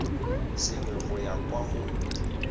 sengwe go ya kwa go